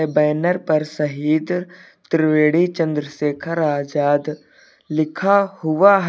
Banner पर शहीद त्रिवेणी चंद्रशेखर आजाद लिखा हुआ है।